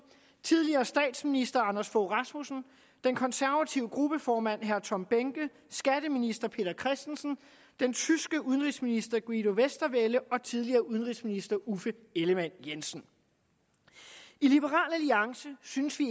tidligere statsminister anders fogh rasmussen den konservative gruppeformand herre tom behnke skatteminister peter christensen den tyske udenrigsminister guido westerwelle og tidligere udenrigsminister uffe ellemann jensen i liberal alliance synes vi